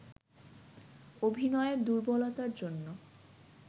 অভিনয়ের দুর্বলতার জন্য